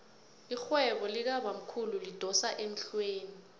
irhwebo likabamkhulu lidosa emhlweni